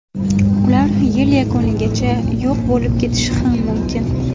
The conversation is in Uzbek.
Ular yil yakunigacha yo‘q bo‘lib ketishi ham mumkin.